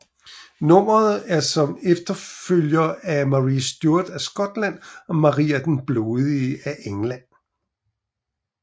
Nummeret er som efterfølger af Marie Stuart af Skotland og Maria den Blodige af England